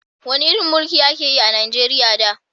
Wani irin mulki a ka yi a Najeriya da?